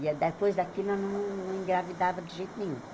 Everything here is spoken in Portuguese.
E a depois daquilo, ela não não engravidava de jeito nenhum.